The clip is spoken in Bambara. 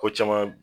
Ko caman